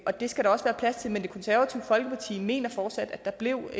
og det skal der også være plads til men det konservative folkeparti mener fortsat at der blev